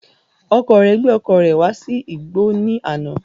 Ọkọ rẹ gbé ọkọ̀ rẹ̀ wá sí igbọ́ ní àná